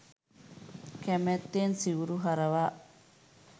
කැමැත්තෙන් සිවුරු හරවා